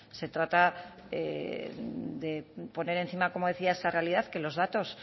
se trata de poner encima como decía esa realidad que los datos